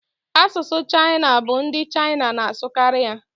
Asụsụ Chaịna bụ ndị Chaịna n'asụkari ya